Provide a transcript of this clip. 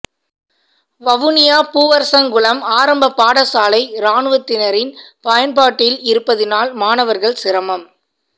வவுனியா பூவரசங்குளம் ஆரம்பப் பாடசாலை இராணுவத்தினரின் பயன்பாட்டில் இருப்பதினால் மாணவர்கள் சிரமம்